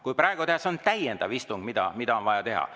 Kui praegu teha istung, siis on see täiendav istung, mida tuleks teha.